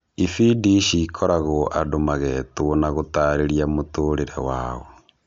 Ibindi ici ikoragwo andũ magetwo na gũtarĩria mũtũrĩre wao.